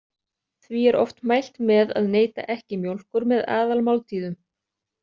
Því er oft mælt með að neyta ekki mjólkur með aðalmáltíðum.